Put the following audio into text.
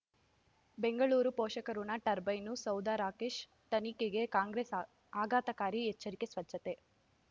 ಬೆಂಗಳೂರು ಪೋಷಕಋಣ ಟರ್ಬೈನು ಸೌಧ ರಾಕೇಶ್ ತನಿಖೆಗೆ ಕಾಂಗ್ರೆಸ್ ಆ ಆಘಾತಕಾರಿ ಎಚ್ಚರಿಕೆ ಸ್ವಚ್ಛತೆ